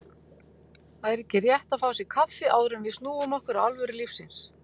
Væri ekki rétt að fá sér kaffi, áður en við snúum okkur að alvöru lífsins.